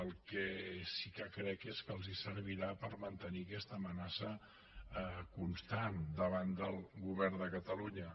el que sí que crec és que els servirà per mantenir aquesta amenaça constant davant del govern de catalunya